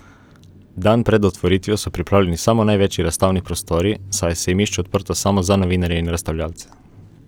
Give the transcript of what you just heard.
Dan pred otvoritvijo so pripravljeni samo največji razstavni prostori, saj je sejmišče odprto samo za novinarje in razstavljavce.